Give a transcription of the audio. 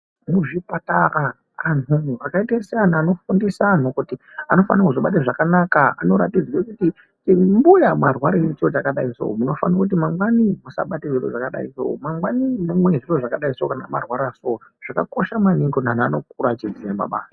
Muzvipatara anhu akaite seanhu anofundisa anhu kuti anofanira kuzvibata zvakanaka ,anoratidze kuti mbuya mwarwarirei nechiro chakadai soo, munofanirwe kuti mangwani musabatwe ngechiro chakadai so, mangwani mumwe zvakadai soo, kana mwarwara soo. Zvakakosha maningi kuti anhu anokura achiziya makwasha.